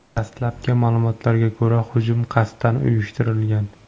Dastlabki ma’lumotlarga ko‘ra, hujum qasddan uyushtirilgan.